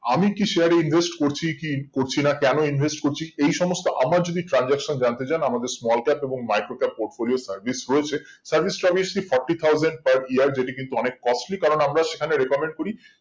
আমি কি share এ invest করছি কি করছি না কেন invest করছি এই সমস্ত আমার যদি transaction জানতে চান আমাদের small cap এবং micro cap port গুলির service রয়েছে service টার্ভিস টি forty thousand per year যেটি কিন্তু অনেক costly কারণ আমরা সেখানে recommend করি